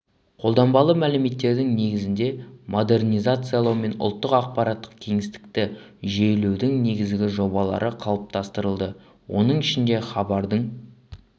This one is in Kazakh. қолданбалы мәліметтердің негізінде модернизациялау мен ұлттық ақпараттық кеңістікті жүйелеудің негізгі жобалары қалыптастырылды оның ішінде хабардың